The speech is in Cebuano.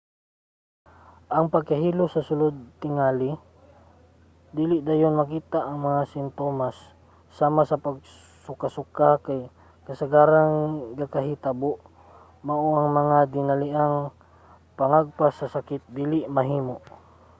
ang pagkahilo sa sulod tingali dili dayon makita. ang mga simtomas sama sa pagsukasuka kay kasagarang gakahitabo mao nga ang dinaliang pangagpas sa sakit dili mahimo